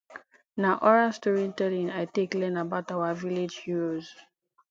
na oral storytelling i take learn about our village heroes